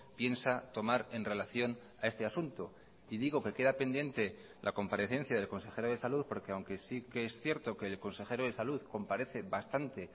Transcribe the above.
piensa tomar en relación a este asunto y digo que queda pendiente la comparecencia del consejero de salud porque aunque sí que es cierto que el consejero de salud comparece bastante